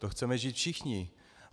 To chceme žít všichni.